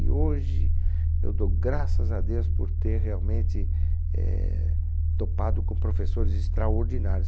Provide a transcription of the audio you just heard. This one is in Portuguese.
E hoje eu dou graças a Deus por ter realmente, eh, topado com professores extraordinários.